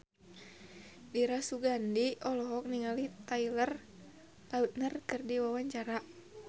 Dira Sugandi olohok ningali Taylor Lautner keur diwawancara